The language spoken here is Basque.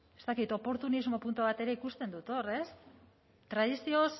ez dakit oportunismo puntu bat ere ikusten dut hor ez tradizioz